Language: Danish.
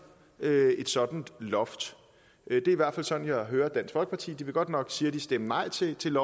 et sådan loft det er i hvert fald sådan jeg hører dansk folkeparti de vil godt nok siger de stemme nej til til